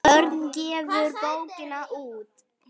Örn gefur bókina út.